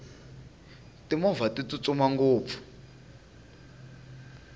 timovha ti tsutsuma ngopfu